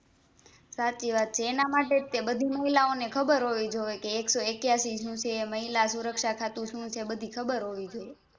સાચી વાત છે એના માટે જ તે બધી મહિલાઓને ખબર હોવી જોઈએ કે એક સો એક્યાશી શું છે મહિલા સુરક્ષા ખાતું શું છે બધી ખબર હોવી જોઈએ